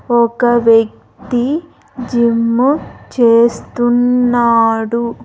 ఒక వ్యక్తి జిమ్ము చేస్తున్నాడు.